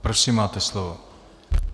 Prosím, máte slovo.